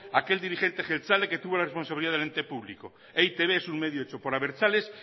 aquel dirigente abertzale que tuvo la responsabilidad del ente público e i te be es un medio hecho por abertzales